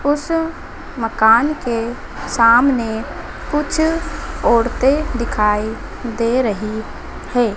उस मकान के सामने कुछ औरतें दिखाई दे रही हैं।